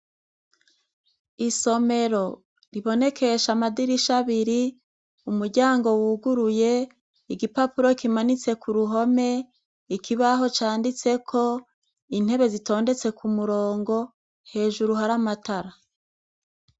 Isomero ribonekesha amadirisha abiri umuryango wuguruye igipapuro kimanitse ku ruhome ikibaho canditseko intebe zitondetse ku murongo hejuru hari amatara.